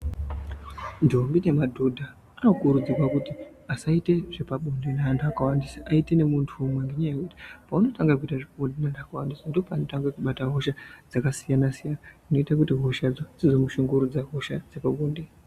Ndombi nemadhodha, anokurudzirwa kuti asaite zvepabonde neantu akawandisa Aite nemuntu umwe ngenyaya yekuti ,paunotanga kuita zvepabonde neantu akawandisa, ndopaunotanga kubata hosha dzakasiyana-siyana, zvinoita kuti hoshadzo dzizoku shungurudza, hosha dzepabonde.